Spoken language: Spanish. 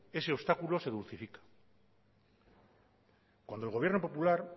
ese obstáculo se dulcifica cuando el gobierno popular